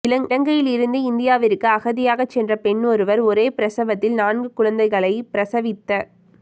இலங்கையிலிருந்து இந்தியாவிற்கு அகதியாக சென்ற பெண் ஒருவர் ஒரே பிரசவத்தில் நான்கு குழந்தைகளை பிரசவித்த